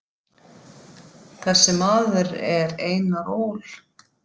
Þessi maður er Einar Ól.